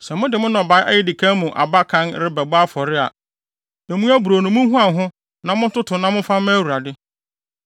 “ ‘Sɛ mode mo nnɔbae a edi kan mu aba kan rebɛbɔ afɔre a, emu aburow no munhuan ho na montoto na momfa mma Awurade.